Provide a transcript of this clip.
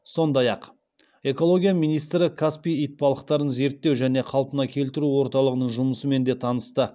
сонда ақ экология министрі каспий итбалықтарын зерттеу және қалпына келтіру орталығының жұмысымен де танысты